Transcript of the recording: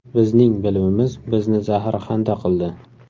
Bizning bilimimiz bizni zaharxanda qildi.